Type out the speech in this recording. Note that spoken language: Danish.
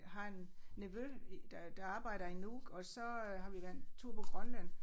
Har en nevø i der der arbejder i Nuuk og så øh har vi været en tur på Grønland